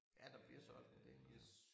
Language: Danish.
Ja der bliver solgt en del nu ja